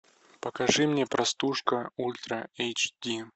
покажи мне простушка ультра эйч ди